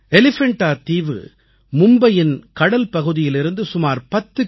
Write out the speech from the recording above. எலிஃபண்டா தீவு மும்பையின் கடல்பகுதியிலிருந்து சுமார் 10 கி